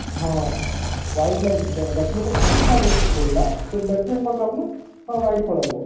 ହଁ wide line batman ପଛ ଆଡେ ପଡିଲା ତ batman କଣ ଭବିଲା ହଁwide ପଳେଇବ